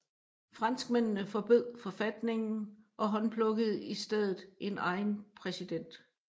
Franskmændene forbød forfatningen og håndplukkede i stedet en egen præsident